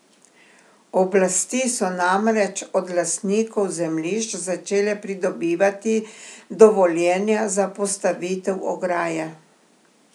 Oblasti so namreč od lastnikov zemljišč začele pridobivati dovoljenja za postavitev ograje.